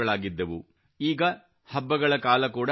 ಈಗ ಹಬ್ಬಗಳ ಕಾಲ ಕೂಡಾ ಆಗಮಿಸಿದೆ